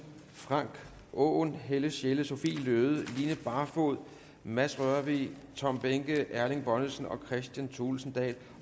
frank aaen helle sjelle sophie løhde line barfod mads rørvig tom behnke erling bonnesen og kristian thulesen dahl